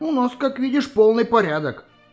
у нас как видишь полный порядок